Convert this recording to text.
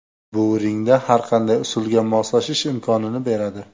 Bu ringda har qanday usulga moslashish imkonini beradi.